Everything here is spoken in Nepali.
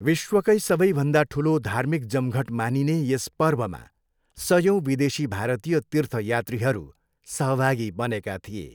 विश्वकै सबैभन्दा ठुलो धार्मिक जमघट मानिने यस पर्वमा सयौँ विदेशी भारतीय तीर्थयात्रीहरू सहभागी बनेका थिए।